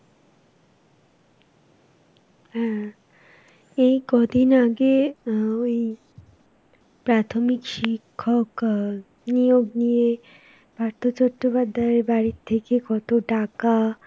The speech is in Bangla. হ্যাঁ, এই কদিন আগে আহ, ওই প্রাথমিক শিক্ষক আ নিয়োগ নিয়ে পার্থ চট্টোপাধ্যায়র বাড়ির থেকে কত টাকা,